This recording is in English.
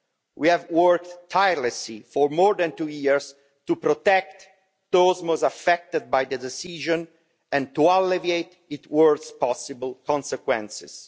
We have worked tirelessly for more than two years to protect those most affected by the decision and to alleviate its worst possible consequences.